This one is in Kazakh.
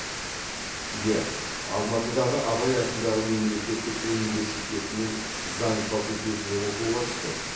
иә алматыдағы абай атындағы мемлекеттік университетінің заң факультетіне оқуға түстім